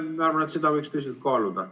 Ma arvan, et seda võiks tõsiselt kaaluda.